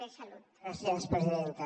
gràcies presidenta